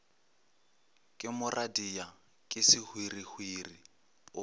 ke moradia ke sehwirihwiri o